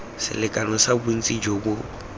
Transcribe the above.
selekano sa bontsi jo bo